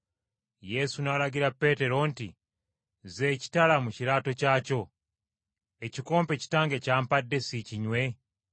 Yesu n’alagira Peetero nti, “Zza ekitala mu kiraato kyakyo. Ekikompe Kitange ky’ampadde, siikinywe?”